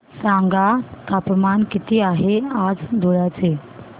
सांगा तापमान किती आहे आज धुळ्याचे